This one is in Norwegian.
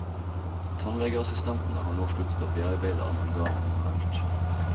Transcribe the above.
Tannlegeassistentene har nå sluttet å bearbeide amalgam manuelt.